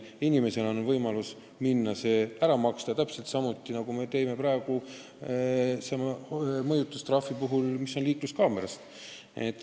Inimesel on võimalus see ära maksta täpselt samuti, nagu see käib praegu mõjutustrahvi puhul, mis määratakse liikluskaamera pildi alusel.